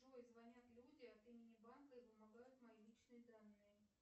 джой звонят люди от имени банка и вымогают мои личные данные